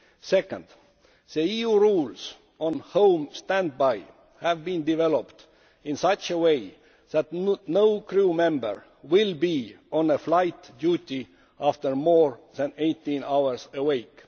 Second, the EU rules on home standby have been developed in such a way that no crew member will be on flight duty after more than 18 hours awake.